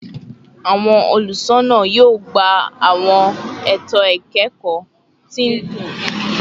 Awọn olusona yoo gba awọn eto ikẹkọ ti n tẹnuba isọdọtun ati ipinnu rogbodiyan